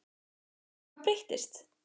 Svo hvað breyttist?